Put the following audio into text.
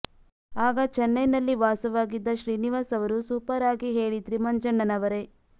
ಆಗ ಚನ್ನೈನಲ್ಲಿ ವಾಸವಾಗಿದ್ದ ಶ್ರೀನಿವಾಸ್ ಅವರು ಸೂಪರ್ ಆಗಿ ಹೇಳಿದ್ರಿ ಮಂಜಣ್ಣನವರೆ